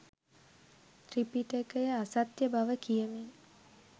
ත්‍රිපිටකය අසත්‍ය බව කියමින්